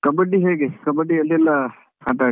Kabbadi ಹೇಗೆ Kabbadi ಎಲ್ಲೆಲ್ಲಾ ಆಟಾಡಿದ್ರಿ?